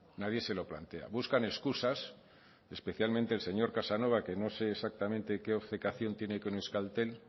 nadie se lo plantea buscan excusas especialmente el señor casanova que no sé exactamente qué obcecación tiene con euskaltel